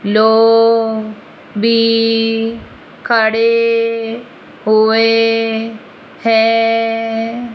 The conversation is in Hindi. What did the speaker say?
लोग भी खड़े हुए हैं।